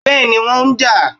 Béèni, wọ́n n ja